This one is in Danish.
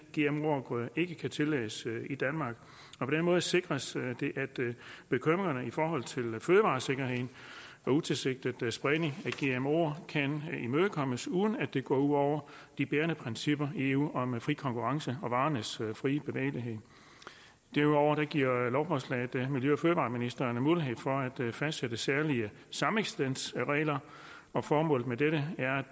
gmo afgrøde ikke kan tillades i danmark på den måde sikres det at bekymringen i forhold til fødevaresikkerhed og utilsigtet spredning af gmoer kan imødekommes uden at det går ud over de bærende principper i eu om fri konkurrence og varernes frie bevægelighed derudover giver lovforslaget miljø og fødevareministeren mulighed for at fastsætte særlige sameksistensregler formålet med dette er